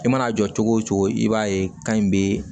I mana jɔ cogo o cogo i b'a ye kan in bɛ